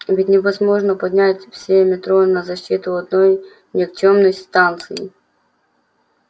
ведь невозможно поднять все метро на защиту одной никчёмной станции